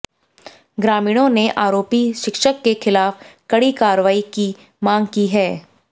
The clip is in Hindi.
ग्रामीणों ने आरोपी शिक्षक के खिलाफ कड़ी कार्रवाई की मांग की है